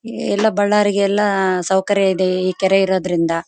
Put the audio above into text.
ಎಲ್ಲ ಬಳ್ಳರಿಗೆ ಎಲ್ಲ ಸೌಕರ್ಯ ಇದೆ ಈ ಕೆರೆ ಇರೋದ್ರಿಂದ.